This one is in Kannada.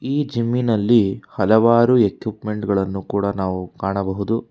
ಈ ಜಮ್ಮಿನಲ್ಲಿ ಹಲವಾರು ಎಕ್ವಿಪ್ಮೆಂಟ್ ಗಳನ್ನು ಕೂಡ ನಾವು ಕಾಣಬಹುದು.